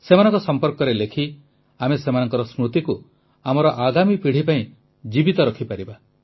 ସେମାନଙ୍କ ସମ୍ପର୍କରେ ଲେଖି ଆମେ ସେମାନଙ୍କ ସ୍ମୃତିକୁ ଆମର ଆଗାମୀ ପିଢ଼ି ପାଇଁ ଜୀବିତ ରଖିପାରିବା